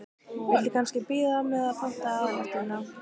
Viltu kannski bíða með að panta aðalréttina?